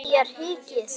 Þér hikið?